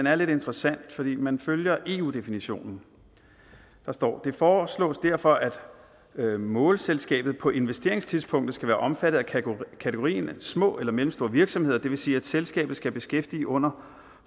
er lidt interessant fordi man følger eu definitionen der står det foreslås derfor at målselskabet på investeringstidspunktet skal være omfattet af kategorien små eller mellemstore virksomheder det vil sige at selskabet skal beskæftige under